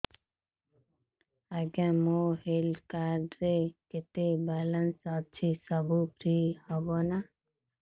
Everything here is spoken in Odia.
ଆଜ୍ଞା ମୋ ହେଲ୍ଥ କାର୍ଡ ରେ କେତେ ବାଲାନ୍ସ ଅଛି ସବୁ ଫ୍ରି ହବ ନାଁ